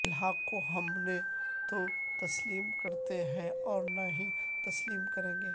الحاق کو ہم نہ تو تسلیم کرتے ہیں اور نہ ہی تسلیم کریں گے